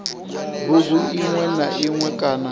bugu iṅwe na iṅwe kana